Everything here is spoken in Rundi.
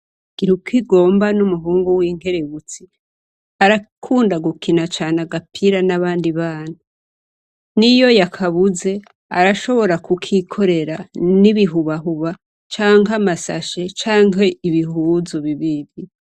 Gira ukigomba n'umuhungu w'inkerebutsi arakunda gukina cane agapira n'abandi bana n'iyo yakabuze arashobora kukikorera n'ibihubahuba canke amasashe canke ibihuzu bibibi.